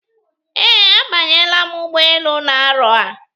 Ee, a banyela m ụgbọelu na-arọ a.